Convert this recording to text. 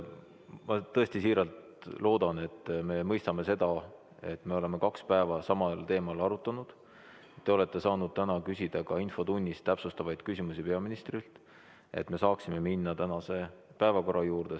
Ma tõesti siiralt loodan, et me mõistame seda, et me oleme kaks päeva samal teemal arutanud, te olete saanud täna küsida ka infotunnis täpsustavaid küsimusi peaministrilt, et me saaksime minna tänase päevakorra juurde.